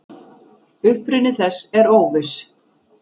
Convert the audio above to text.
Uppruni þess er óviss.